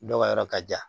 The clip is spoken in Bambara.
Dɔw ka yɔrɔ ka jan